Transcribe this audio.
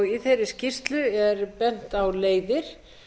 í þeirri skýrslu er bent á leiðir